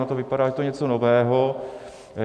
Ono to vypadá, že je to něco nového.